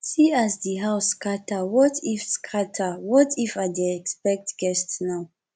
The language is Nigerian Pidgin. see as dis house scatter what if scatter what if i dey expect guest now